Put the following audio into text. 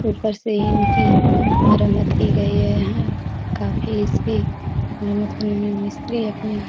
ऊपर से इनकी मरम्मत की गई है। यहाँ काफी इसकी मरम्मत मिस्त्री अपनी --